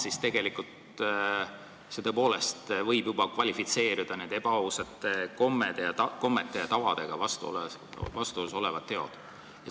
Kust maalt need teod võivad kvalifitseeruda ebaausatena, heade kommete ja tavadega vastuolus olevate tegudena?